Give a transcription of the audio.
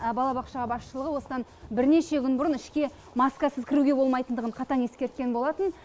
балабақша басшылығы осыдан бірнеше күн бұрын ішке маскасыз кіруге болмайтындығын қатаң ескерткен болатын